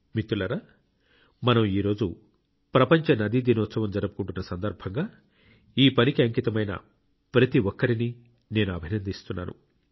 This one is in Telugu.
మిత్రులారా మనం ఈరోజు ప్రపంచ నదీ దినోత్సవం జరుపుకుంటున్న సందర్భంగా ఈ పనికి అంకితమైన ప్రతి ఒక్కరినీ నేను అభినందిస్తున్నాను